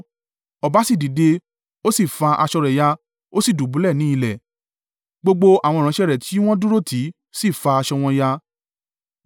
Ọba sì dìde, ó sì fa aṣọ rẹ̀ ya, ó sì dùbúlẹ̀ ni ilẹ̀; gbogbo àwọn ìránṣẹ́ rẹ̀ tí wọ́n dúró tì í sì fà aṣọ wọn ya.